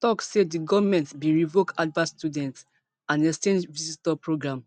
tok say di goment bin revoke harvard student and exchange visitor program